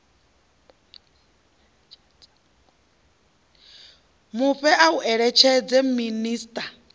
mufhe ya u eletshedza minisiṱa